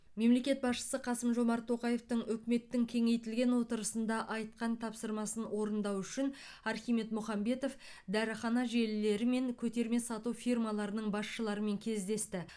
мемлекет басшысы қасым жомарт тоқаевтың үкіметтің кеңейтілген отырысында айтқан тапсырмасын орындау үшін архимед мұхамбетов дәріхана желілері мен көтерме сату фирмаларының басшыларымен кездесті